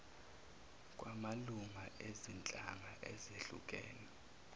kwamalunga ezinhlanga ezehlukene